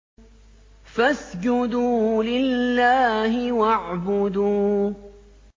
فَاسْجُدُوا لِلَّهِ وَاعْبُدُوا ۩